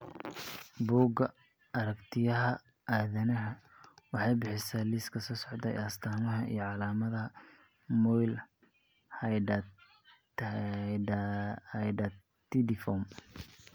Bugga Aragtiyaha Aadanaha waxay bixisaa liiska soo socda ee astaamaha iyo calaamadaha mole Hydatidiform.